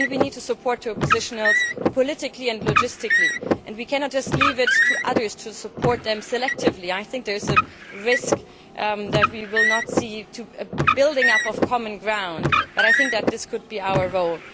We need to support the opposition both politically and logistically, and we cannot just leave it to others to support them selectively. I think that there is a risk that we will not see a building up of common ground, but I think that this could be our role.